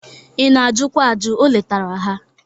Ị na-ajụkwa ajụ, o letara ha.